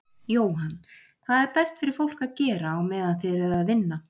Jóhann: Hvað er best fyrir fólk að gera á meðan þið eruð að vinna?